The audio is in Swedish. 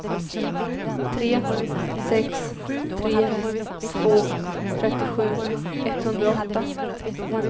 tre sex tre två trettiosju etthundraåtta